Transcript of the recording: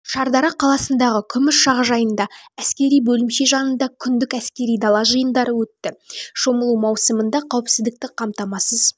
шардара қаласындағы күміс жағажайында әскери бөлімше жанында күндік әскери дала жиындары өтті шомылу маусымында қауіпсіздікті қамтамасыз